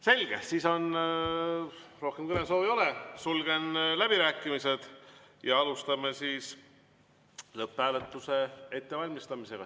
Selge, siis rohkem kõnesoove ei ole, sulgen läbirääkimised ja alustame lõpphääletuse ettevalmistamist.